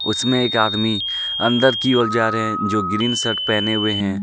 उसमें एक आदमी अंदर की ओर जा रहे है जो ग्रीन शर्ट पहने हुए हैं.